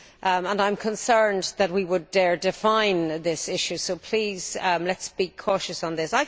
I am concerned that we would dare define this issue, so please let us be cautious on this.